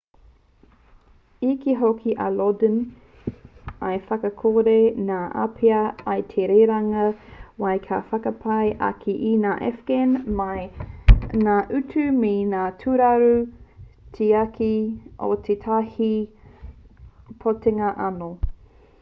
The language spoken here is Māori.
i kī hoki a lodin i whakakore ngā āpiha i te rerenga wai kia whakapai ake i ngā afghan mai i ngā utu me ngā tūraru tiaki o tētahi pōtitanga anō